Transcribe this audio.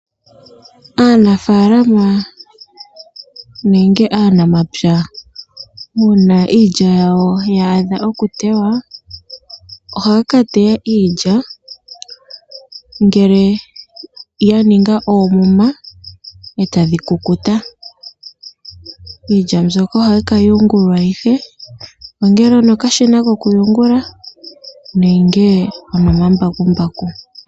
Aanafaalama nenge aanamapya una iilya yawo ya adha oku teywa, ohaya ka teya iilya ngele ya ninga oomuma e tadhi kukuta. Iilya mbyoka ohahi yungulwa ihe ongele onokashina kokuyungula nenge onomambakumbaku.